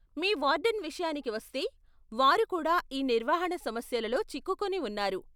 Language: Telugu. మీ వార్డెన్ విషయానికి వస్తే, వారు కూడా ఈ నిర్వహణ సమస్యలలో చిక్కుకుని ఉన్నారు.